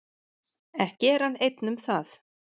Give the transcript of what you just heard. Ekki er hann einn um það.